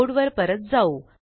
code वर परत जाऊ